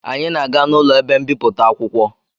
Anyị na-aga n'ụlọ ebe mbipụta akwụkwọ